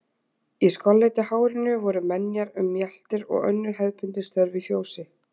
Í skolleitu hárinu voru menjar um mjaltir og önnur hefðbundin störf í fjósi.